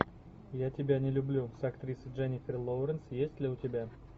я тебя не люблю с актрисой дженнифер лоуренс есть ли у тебя